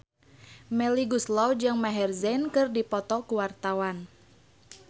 Melly Goeslaw jeung Maher Zein keur dipoto ku wartawan